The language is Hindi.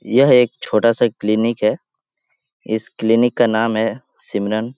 यह एक छोटा सा क्लिनिक है इस क्लिनिक का नाम है सिमरन।